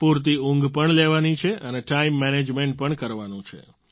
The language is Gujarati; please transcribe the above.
પૂરતી ઉંઘ પણ લેવાની છે અને ટાઈમ મેનેજમેન્ટ પણ કરવાનું છે